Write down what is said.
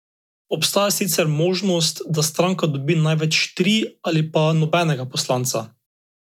Obstaja sicer možnost, da stranka dobi največ tri ali pa nobenega poslanca.